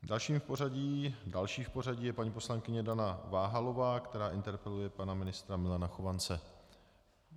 Další v pořadí je paní poslankyně Dana Váhalová, která interpeluje pana ministra Milana Chovance.